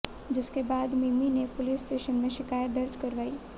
जिसके बाद मिमी ने पुलिस स्टेशन में शिकायत दर्ज करवाई